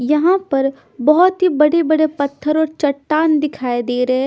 यहाँ पर बहोत ही बड़े-बड़े पत्थर और चट्टान दिखाई दे रहे हैं।